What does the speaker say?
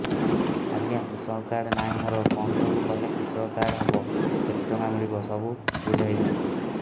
ଆଜ୍ଞା କୃଷକ କାର୍ଡ ନାହିଁ ମୋର କଣ ସବୁ କଲେ କୃଷକ କାର୍ଡ ହବ କେତେ ଟଙ୍କା ମିଳିବ ସବୁ ବୁଝାଇଦିଅନ୍ତୁ